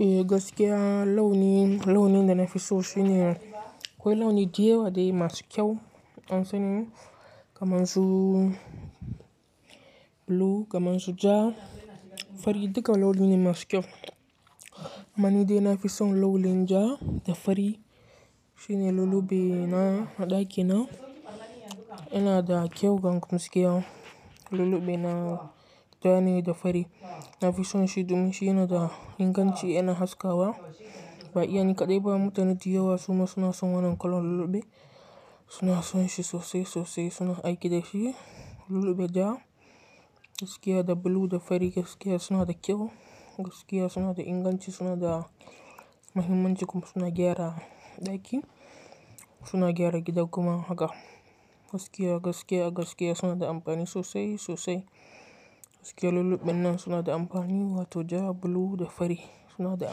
Eh, gaskiya launi, launi da nafi so shine, akwai launi da yawa dai masu kyau. Don seni kamar su blue, kamar su ja, fari duka launi ne masu kyau. Amma nidai nafi son launi ja da fari shine lullube na a ɗakina yana da kyau bang gaskiya Lullube na ja ne da fari. Nafison shi domin shi yana da inganci yana haskawa. Ba iya ni kaɗai ba mutane da yawa suma suna son wannan kalan lullube. Suna son shi sosai sosai suna aiki da shi lullube ja, gaskiya da blue da fari gaskiya suna da kyau. Gaskiya suna da inganci suna da muhimmanci kuma suna gyara ɗaki. Suna gyara gida kuma haka gaskiya, gaskiya, gaskiya suna da amfani sosai sosai. Gaskiya lulluɓen nan suna da amfani wato ja, blue da fari suna da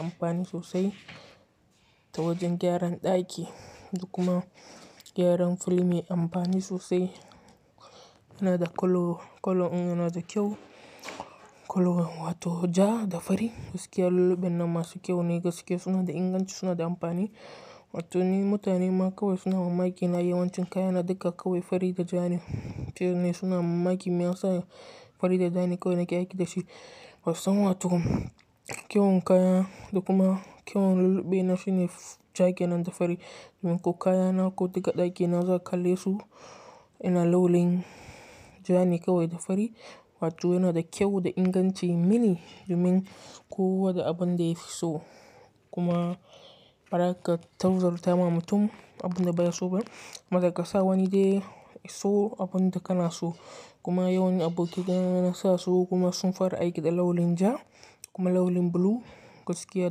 amfani sosai ta wajen gyaran ɗaki duk kuma gyaran fil me amfani sosai. Yana da colour, colour in yana da kyau. Kolo wato ja da fari gaskiya lulluɓen nan masu kyau ne gaskiya suna da inganci suna da amfani. Wato ni mutane ma kawai suna mamaki na yawancin kaya na duka kawai fari da ja ne. Mutane ne suna mamaki me yasa fari da ja ne kawai nake aiki da shi. Basusan wato kyau kayan duk kuma kyau lullube na shine ja ke nan da fari. Domin ko kayana ko duka ɗakina za ka kallesu yana launi ja ne kawai da fari. Wato yana da kyau da inganci mini domin kowa da abun da yafi so kuma ba za ka tauzar ta ma mutum abun da baya so ba. Bazakasa wani dai iso abun da kana so kuma yawan aboki ka nasa su kuma sun fara aiki da launi ja kuma launi blue gaskiya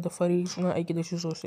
da fari suna aiki da shi sosai.